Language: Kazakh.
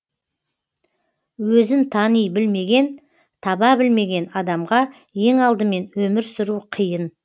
өзін тани білмеген таба білмеген адамға ең алдымен өмір сүру қиын